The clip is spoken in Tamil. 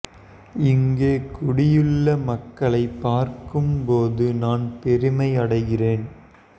இங்கே கூடியுள்ள மக்களை பார்க்கும் போது நான் பெருமை அடைகிறேன்